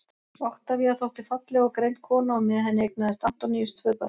oktavía þótti falleg og greind kona og með henni eignaðist antoníus tvö börn